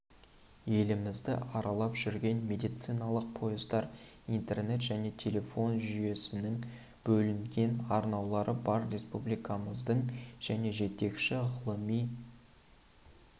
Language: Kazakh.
елімізді аралап жүрген медициналық пойыздар интернет және телефон жүйесінің бөлінген арналары бар республикамыздың және жетекші ғылыми